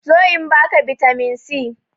Zo in ba ka bitamin c!